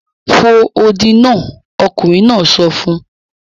Fò odi náà! ọkùnrin náà sọ fún